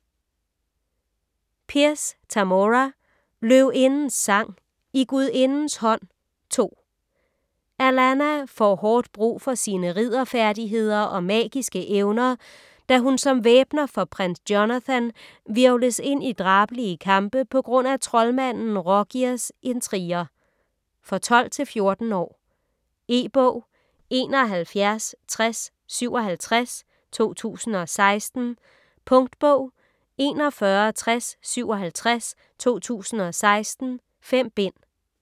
Pierce, Tamora: Løvindens sang: I gudindens hånd: 2 Alanna får hårdt brug for sine ridderfærdigheder og magiske evner, da hun, som væbner for prins Jonathan, hvirvles ind i drabelige kampe pga. troldmanden Rogirs intriger. For 12-14 år. E-bog 716057 2016. Punktbog 416057 2016. 5 bind.